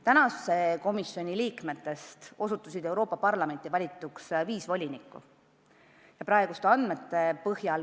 Praeguse komisjoni liikmetest osutusid Euroopa Parlamenti valituks viis volinikku.